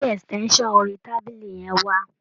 Gbé extension orí tábìlì yẹn wá.